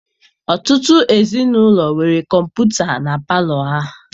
Ọtụtụ ezinaụlọ nwere kọmputa na palọ ha.